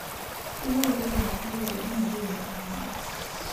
Keyieu lairemok neitukuji metuuno kahawa